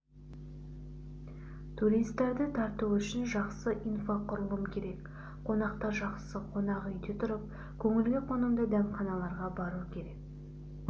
туристерді тарту үшін жақсы инфрақұрылым керек қонақтар жақсы қонақ үйде тұрып көңілге қонымды дәмханаларға бару керек